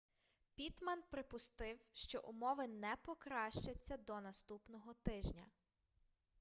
піттман припустив що умови не покращаться до наступного тижня